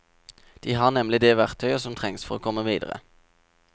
De har nemlig det verktøyet som trengs for å komme videre.